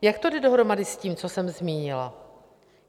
Jak to jde dohromady s tím, co jsem zmínila?